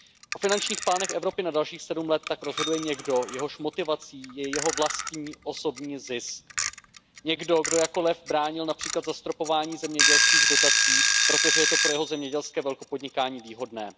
O finančních plánech Evropy na dalších sedm let tak rozhoduje někdo, jehož motivací je jeho vlastní osobní zisk, někdo, kdo jako lev bránil například zastropování zemědělských dotací, protože je to pro jeho zemědělské velkopodnikání výhodné.